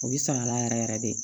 O bɛ sɔn a la yɛrɛ yɛrɛ de